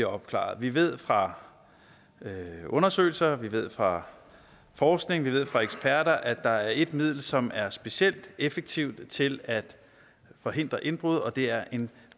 opklaret vi ved fra undersøgelser vi ved fra forskning vi ved fra eksperter at der er et middel som er specielt effektivt til at forhindre indbrud og det er en